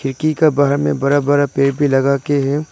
खिड़की के बाहर में बड़ा बड़ा पेड़ भी लगा के है।